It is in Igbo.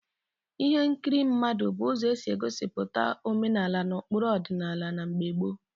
Folk dramas were means of portraying traditional traditional cultures and values in the ancient time.